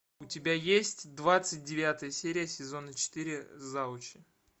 у тебя есть двадцать девятая серия сезона четыре завучи